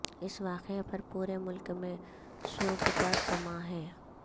اس واقعہ پر پورے ملک میں سوگ کا سماں ہے